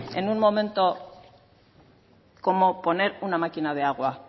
en un momento como poner una máquina de agua